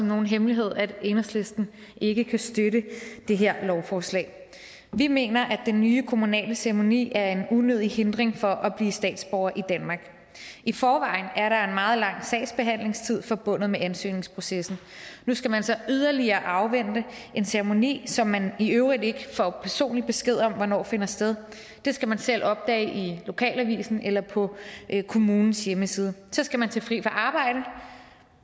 nogen hemmelighed at enhedslisten ikke kan støtte det her lovforslag vi mener at den nye kommunale ceremoni er en unødig hindring for at blive statsborger i danmark i forvejen er der en meget lang sagsbehandlingstid forbundet med ansøgningsprocessen nu skal man så yderligere afvente en ceremoni som man i øvrigt ikke får personlig besked om hvornår finder sted det skal man selv opdage i lokalavisen eller på kommunens hjemmeside så skal man tage fri fra arbejde